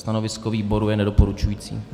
Stanovisko výboru je nedoporučující.